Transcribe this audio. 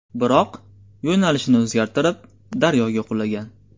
Biroq, yo‘nalishini o‘zgartirib, daryoga qulagan.